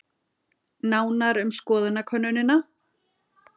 Nánar um skoðanakönnunina